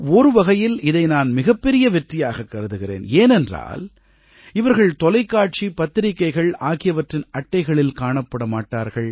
ஒரு வகையில் இதை நான் மிகப்பெரிய வெற்றியாகக் கருதுகிறேன் ஏனென்றால் இவர்கள் தொலைக்காட்சி பத்திரிக்கைகள் ஆகியவற்றின் அட்டைகளில் காணப்படமாட்டார்கள்